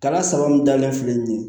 Kalan sababu min dalen filɛ nin ye